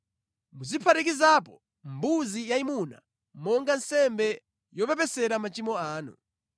Muziphatikizapo mbuzi yayimuna monga nsembe yopepesera machimo anu.